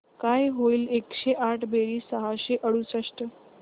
काय होईल एकशे आठ बेरीज सहाशे अडुसष्ट